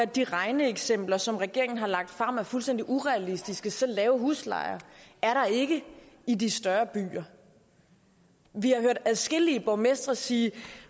de regneeksempler som regeringen har lagt frem er fuldstændig urealistiske så lave huslejer er der ikke i de større byer vi har hørt adskillige borgmestre sige